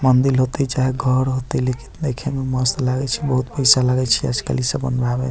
मंदील होतय चाहे घर होतय लेकिन देखे मे मस्त लागय छै बहुत पैसा लागय छै आज-कल इ सब बनवाबे में।